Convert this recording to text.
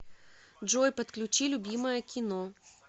джой подключи любимое кино